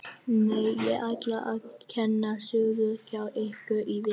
Nei, ég ætla að kenna sögu hjá ykkur í vetur.